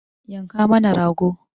Yanka mana rago!